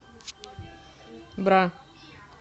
бра